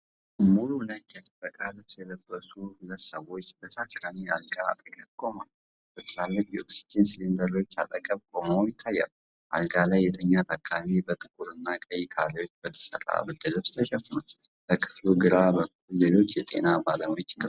ሙሉ ነጭ የጥበቃ ልብስ የለበሱ ሁለት ሰዎች ከታካሚ አልጋ አጠገብ ቆመዋል። በትላልቅ የኦክስጂን ሲሊንደሮች አጠገብ ቆመው ይታያሉ፤ አልጋ ላይ የተኛ ታካሚ በጥቁርና ቀይ ካሬዎች በተሰራ ብርድ ልብስ ተሸፍኗል። በክፍሉ ግራ በኩል ሌሎች የጤና ባለሙያዎች ይንቀሳቀሳሉ።